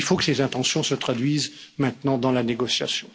Mais il faut que les intentions se traduisent maintenant dans la négociation.